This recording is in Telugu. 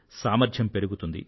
సామర్థ్యం పెరుగుతుంది